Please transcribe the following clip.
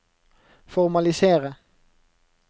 formalisere